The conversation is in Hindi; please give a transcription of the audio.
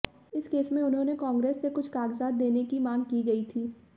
इस केस में उन्होंने कांग्रेस से कुछ कागजात देने की मांग की गई थी